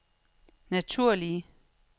naturlige